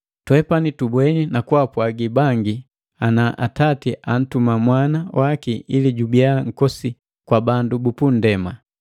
Twepani tubweni na kwaapwagi bangi ana Atati antuma Mwana waki ili jubiya Nkombosi kwa bandu bu punndema.